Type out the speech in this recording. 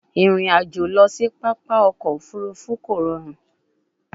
Irin ajo lọ si papa ọkọ ofurufu ko rọrun